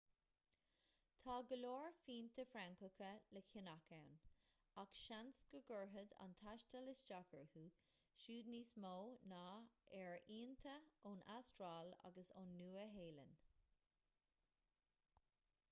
tá go leor fíonta francacha le ceannach ann ach seans go gcuirfeadh an taisteal isteach orthu siúd níos mó ná ar fhíonta ón astráil agus ón nua-shéalainn